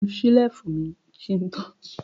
Mo nu ṣẹ́lífù mi kí n tó kúrò ní ọ́fíísì mi lánàá.